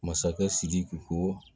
Masakɛ sidiki ko